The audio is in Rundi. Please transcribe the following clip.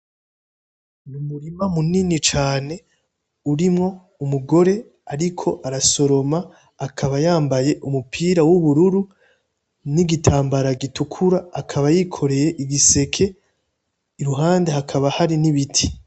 N'umurima munini cane urimwo umugore ariko arasoroma, akaba yambaye umupira w'ubururu n'igitambara gitukura akaba yikore igiseke iruhande hakaba hari n'ibiti .